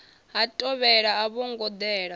ha thovhele a vhongo dela